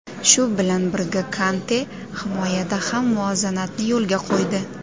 Shu bilan birga Konte himoyada ham muvozanatni yo‘lga qo‘ydi.